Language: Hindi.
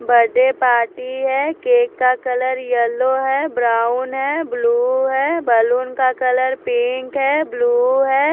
बर्थडे पार्टी है केक का कलर येलो है ब्राउन है ब्लू है बलून का कलर पिंक है ब्लू है।